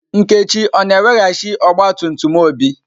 Nkechi o-na eweghachi ọgba tum tum Obi?